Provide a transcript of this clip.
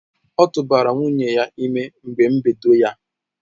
ọtụbara nwunye ya ime na mgbe mbedo ya.